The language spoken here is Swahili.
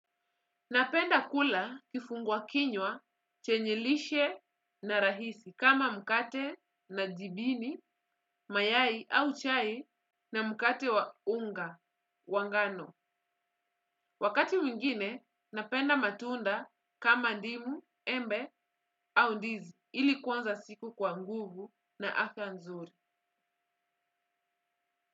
Napenda kula kifungua kinywa, chenye lishe na rahisi kama mkate na jibini, mayai au chai na mkate wa unga, wa ngano. Wakati mwingine, napenda matunda kama ndimu, embe au ndizi, ili kuanza siku kwa nguvu na afya nzuri.